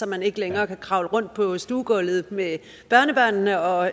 man ikke længere kan kravle rundt på stuegulvet med børnebørnene og